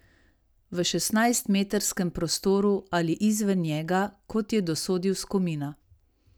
V šestnajstmetrskem prostoru ali izven njega, kot je dosodil Skomina.